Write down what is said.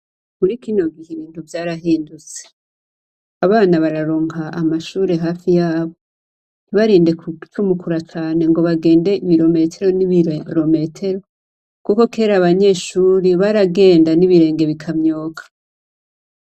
Muri kino gihe ,ibintu vyarahindutse. Abana baronka amashure hafi yabo ntibarinde gucumukura cane ngo bagende ibirometero n' ibirometero, kuko kera abanyeshure baragenda n' ibirenge bikamyoka.